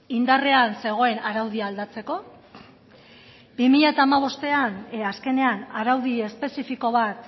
indarrean zegoen araudia aldatzeko bi mila hamabostean azkenean araudi espezifiko bat